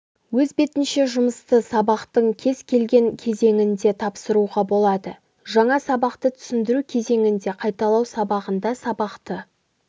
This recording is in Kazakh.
өз бетінше жұмысты сабақтың кез келген кезеңінде тапсыруға болады жаңа сабақты түсіндіру кезеңінде қайталау сабағында сабақты